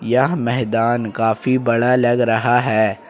यह मैदान काफी बड़ा लग रहा है।